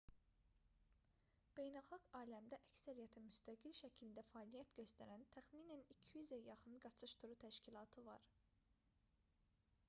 beynəlxalq aləmdə əksəriyyəti müstəqil şəkildə fəaliyyət göstərən təxminən 200-ə yaxın qaçış turu təşkilatı var